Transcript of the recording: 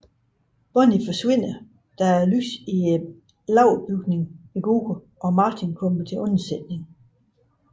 Bonnie forsvinder da lyset i lagerbygningen går ud og Martin kommer til undsætning